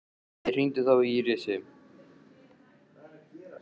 Við hringdum þó í Írisi og